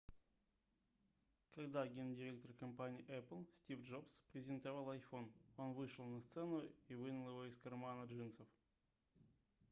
когда гендиректор компании apple стив джобс презентовал iphone он вышел на сцену и вынул его из кармана джинсов